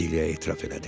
Dilyə etiraf elədi.